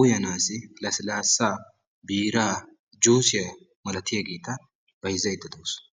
uyanasi lasilasaa, biira, juusiyaa malatiyageta byzzayda deawusu.